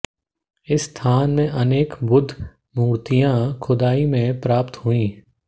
इस स्थान से अनेक बुद्ध मूर्तियां खुदाई में प्राप्त हुई